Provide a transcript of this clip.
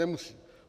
Nemusí.